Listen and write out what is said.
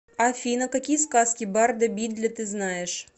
афина какие сказки барда бидля ты знаешь